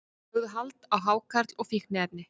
Lögðu hald á hákarl og fíkniefni